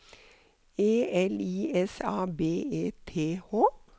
E L I S A B E T H